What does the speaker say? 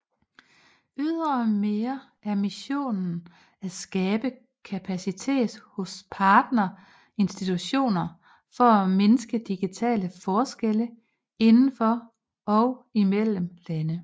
Ydremere er missionen at skabe kapacitet hos partner institutioner for at mindske digitale forskelle indendfor og imellem lande